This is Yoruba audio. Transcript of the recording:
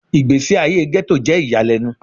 Igbesi aye Ghetto jẹ iyalẹnu